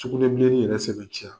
Sugunɛbileni yɛrɛ sɛbɛntiya